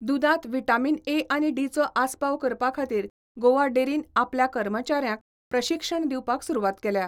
दुदांत vitamin A आनी डीचो आसपाव करपा खातीर गोवा डेरीन आपल्या कर्मचाऱ्यांक प्रशिक्षण दिवपाक सुरवात केल्या.